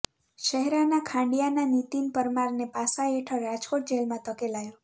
શહેરાના ખાંડિયાના નીતિન પરમારને પાસા હેઠળ રાજકોટ જેલમાં ધકેલાયો